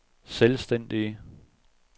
selvstændig